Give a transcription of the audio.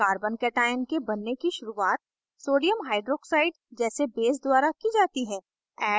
carbocation के बनने की शुरुआत sodium hydroxide naoh जैसे base द्वारा की जाती है